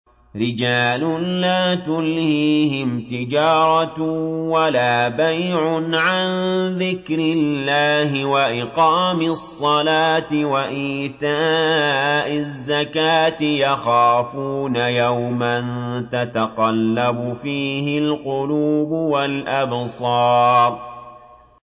رِجَالٌ لَّا تُلْهِيهِمْ تِجَارَةٌ وَلَا بَيْعٌ عَن ذِكْرِ اللَّهِ وَإِقَامِ الصَّلَاةِ وَإِيتَاءِ الزَّكَاةِ ۙ يَخَافُونَ يَوْمًا تَتَقَلَّبُ فِيهِ الْقُلُوبُ وَالْأَبْصَارُ